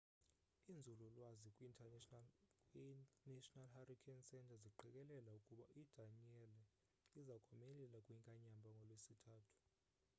iinzulu lwazi kwi national hurricane centre ziqikelela ukuba idanielle iza komelela kwinkanyamba ngolwesithathu